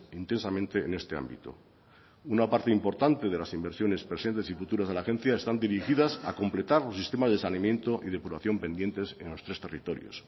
intensamente en este ámbito una parte importante de las inversiones presentes y futuras de la agencia están dirigidas a completar los sistemas de saneamientos y depuración pendientes en los tres territorios